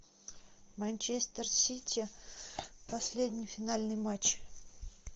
манчестер сити последний финальный матч